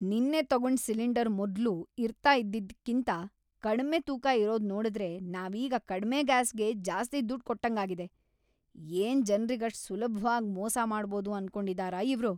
ನಿನ್ನೆ ತಗೊಂಡ್ ಸಿಲಿಂಡರ್ ಮೊದ್ಲು ಇರ್ತಾ ಇದ್ದಿದ್ಕಿಂತ ಕಡ್ಮೆ ತೂಕ ಇರೋದ್‌ ನೋಡುದ್ರೆ ನಾವೀಗ ಕಡ್ಮೆ ಗ್ಯಾಸ್‌ಗೆ ಜಾಸ್ತಿ ದುಡ್ಡ್‌ ಕೊಟ್ಟಂಗಾಗಿದೆ, ಏನ್‌ ಜನ್ರಿಗ್‌ ಅಷ್ಟ್‌ ಸುಲಭ್ವಾಗ್‌ ಮೋಸ ಮಾಡ್ಬೋದು ಅನ್ಕೊಂಡಿದಾರ ಇವ್ರು!